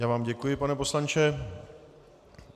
Já vám děkuji, pane poslanče.